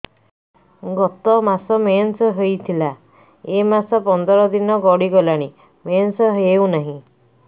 ଗତ ମାସ ମେନ୍ସ ହେଇଥିଲା ଏ ମାସ ପନ୍ଦର ଦିନ ଗଡିଗଲାଣି ମେନ୍ସ ହେଉନାହିଁ